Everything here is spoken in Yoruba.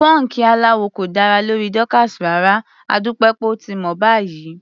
Pọ́ńkì aláwọ̀ kò dára lórí Dorcas rárá, adúpẹ́ pé ó ti mọ̀ báyìí.